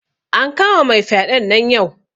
An kama mai fyaɗen nan yau